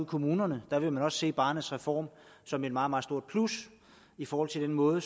kommunerne vil man se barnets reform som et meget meget stort plus i forhold til den måde